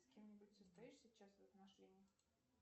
с кем нибудь состоишь сейчас в отношениях